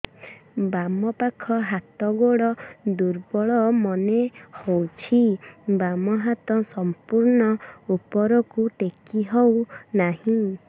ବାମ ପାଖ ହାତ ଗୋଡ ଦୁର୍ବଳ ମନେ ହଉଛି ବାମ ହାତ ସମ୍ପୂର୍ଣ ଉପରକୁ ଟେକି ହଉ ନାହିଁ